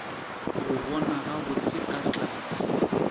go bona gabotse ka tlase